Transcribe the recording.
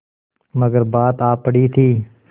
मगर बात आ पड़ी थी